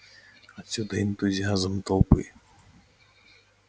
отсюда и энтузиазм толпы